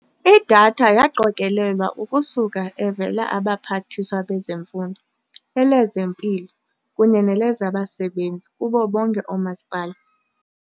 Idatha yaqokelelwa ukusuka evela Abaphathiswa bezeMfundo, elezeMpilo kunye nelezaBasebenzi kubo bonke oomasipala.